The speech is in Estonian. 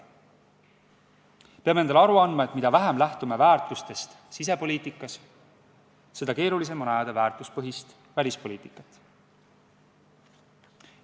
Peame endale aru andma, et mida vähem lähtume väärtustest sisepoliitikas, seda keerulisem on ajada väärtuspõhist välispoliitikat.